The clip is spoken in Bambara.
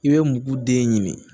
I bɛ mugu den ɲini